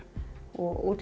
og